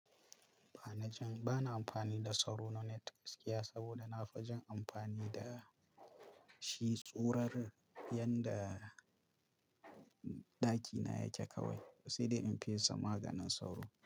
Ba na jin, ba na amfani da sauro na net gaskiya saboda na fi jin amfani da shi tsorar yanda ɗakina yake kawai, ba sai da in fesa maganin sauro.